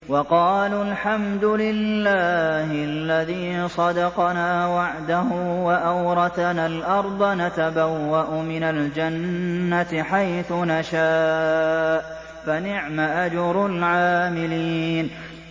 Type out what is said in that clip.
وَقَالُوا الْحَمْدُ لِلَّهِ الَّذِي صَدَقَنَا وَعْدَهُ وَأَوْرَثَنَا الْأَرْضَ نَتَبَوَّأُ مِنَ الْجَنَّةِ حَيْثُ نَشَاءُ ۖ فَنِعْمَ أَجْرُ الْعَامِلِينَ